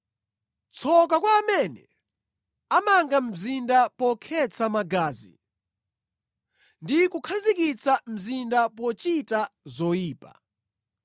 “Tsoka kwa amene amanga mzinda pokhetsa magazi ndi kukhazikitsa mzinda pochita zoyipa!